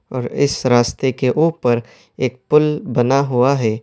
اور اس راستے کے اوپر ایک پُل بنا ہوا ہے۔